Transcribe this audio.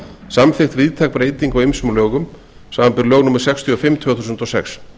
samþykkt víðtæk breyting á ýmsum lögum samanber lög númer sextíu og fimm tvö þúsund og sex